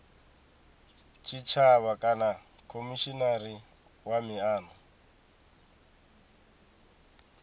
tshitshavha kana khomishinari wa miano